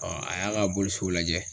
a y'a ka bolisow lajɛ